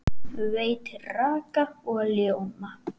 Veitir raka og ljóma.